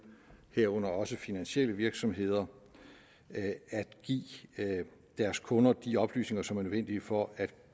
herunder også finansielle virksomheder at at give deres kunder de oplysninger som er nødvendige for at